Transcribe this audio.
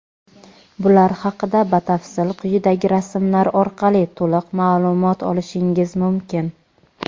Bular haqida batafsil quyidagi rasmlar orqali to‘liq ma’lumot olishingiz mumkin.